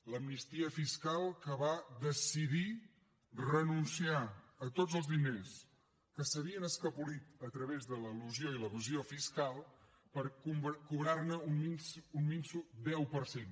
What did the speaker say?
l’amnistia fiscal que va decidir renunciar a tots els diners que s’havien escapolit a través de l’elusió i l’evasió fiscal per cobrar ne un minso deu per cent